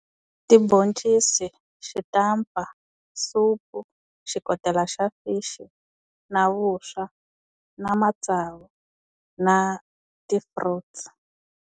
Tibhoncisi, xitampa, supu, xikotela xa fish, na vuswa, na matsavu, na ti-fruits.